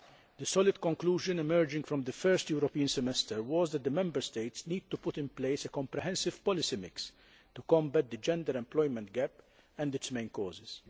The solid conclusion emerging from the first European semester was that the Member States need to put in place a comprehensive policy mix to combat the gender employment gap and its main causes.